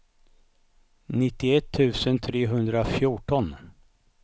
nittioett tusen trehundrafjorton